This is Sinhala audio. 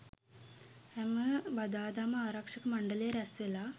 හැම බදාදාම ආරක්ෂක මණ්ඩලය රැස්වෙලා